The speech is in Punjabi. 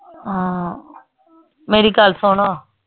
ਹਾਂ ਮੇਰੀ ਗੱਲ ਸੁਣ।